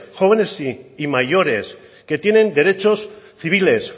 jóvenes y mayores que tienen derechos civiles